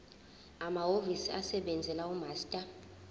amahhovisi asebenzela umaster